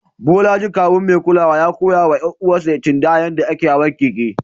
Bolaji, kawun mai kulawa, ya koya wa ƴar uwarsa Chindaya yadda ake hawan keke.